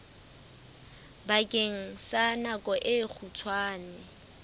bakeng sa nako e kgutshwane